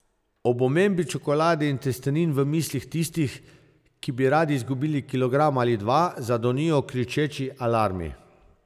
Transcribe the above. Ob omembi čokolade in testenin v mislih tistih, ki bi radi izgubili kilogram ali dva, zadonijo kričeči alarmi.